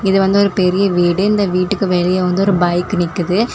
இது வந்து ஒரு பெரிய வீடு இந்த வீட்டுக்கு வெளியே வந்து ஒரு பைக் நிக்குது.